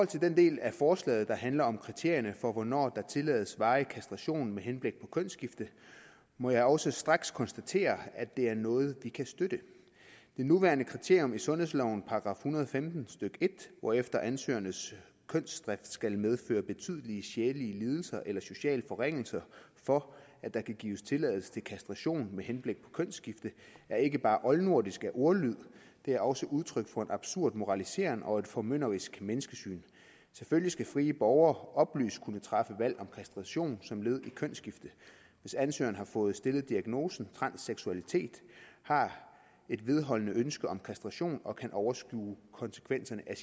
til den del af forslaget der handler om kriterierne for hvornår der tillades varig kastration med henblik på kønsskifte må jeg også straks konstatere at det er noget vi kan støtte det nuværende kriterium i sundhedslovens § en hundrede og femten stykke en hvorefter ansøgerens kønsdrift skal medføre betydelige sjælelige lidelser eller sociale forringelser for at der kan gives tilladelse til kastration med henblik på kønsskifte er ikke bare oldnordisk af ordlyd det er også udtryk for en absurd moralisering og et formynderisk menneskesyn selvfølgelig skal frie borgere oplyst kunne træffe valg om kastration som led i kønsskifte hvis ansøgeren har fået stillet diagnosen transseksuel og har et vedholdende ønske om kastration og kan overskue konsekvenserne af